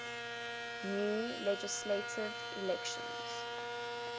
new legislative elections